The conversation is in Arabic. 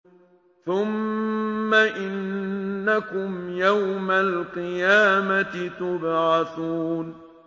ثُمَّ إِنَّكُمْ يَوْمَ الْقِيَامَةِ تُبْعَثُونَ